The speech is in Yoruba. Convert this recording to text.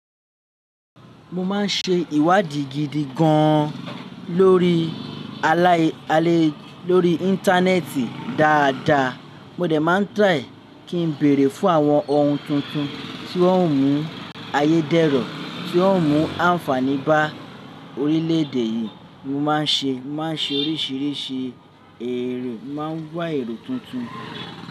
Mo máa ń ṣe ìwádìí gidi gan lórí alai, alai, lórí Íńtánẹ́ẹ̀tì dáadáa. Mo dẹ̀ máa ń bèrè fún àwọn ohun tuntun tí ó ń mú ayédèro, tí ó ń mú àǹfààní bá orílẹ̀èdè yìí. Mo má a ń ṣe, má a ń ṣe oríṣìíríṣìí èrè, má a ń gbọ́ èrò tuntun.